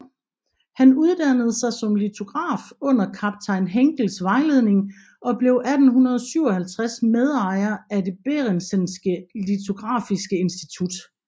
Han uddannede sig som litograf under kaptajn Henckells vejledning og blev 1857 medejer af det Bærentzenske lithografiske Institut